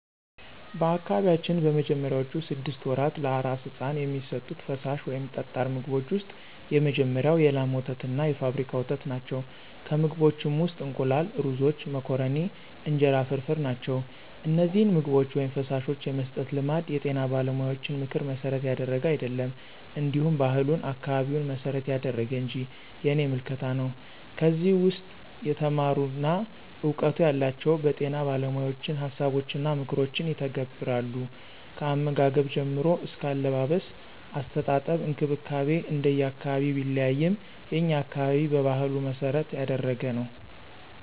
በአካባቢያችን በመጀመሪያዎቹ ስድስት ወራት ለአራስ ሕፃን የሚሰጡት ፈሳሽ ወይም ጠጣር ምግቦች ውስጥ የመጀመሪያው የላም ወተትና የፋብሪካ ወተት ናቸው፣ ከምግቦችም ውስጥ እንቁላል፣ ሩዞች፣ መኮረኒ፣ እንጀራ ፍርፍር ናቸው። እነዚህን ምግቦች/ፈሳሾች የመስጠት ልማድ የጤና ባለሙያዎችን ምክር መሠረት ያደረገ አይደለም እንዲሁ ባህሉን፣ አካባቢውን መሰረት ያደረገ እንጅ የኔ ምልከታ ነው። ከዚህ ውስም የተማሩና እውቀቱ ያላቸው በጤና ባለሞያዎችን ሀሳቦችንና ምክሮችን ይተገብራሉ። ከአመጋገብ ጀምሮ አስከ አለባበስ፣ አስተጣጠብ እንክብካቤ እንደየ አካባቢው ቢለያይም የኛ አካባቢ በባህሉ መሰረት ያደረገ ነው።